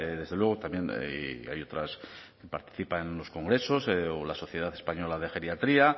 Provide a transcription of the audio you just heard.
desde luego también y hay otras participa en los congresos o la sociedad española de geriatría